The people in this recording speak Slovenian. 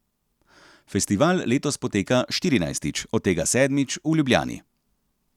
Festival letos poteka štirinajstič, od tega sedmič v Ljubljani.